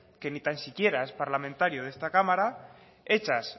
que ni tan siquiera es parlamentario de esta cámara hechas